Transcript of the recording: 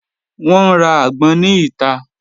Wọn n ra agbon ni ita.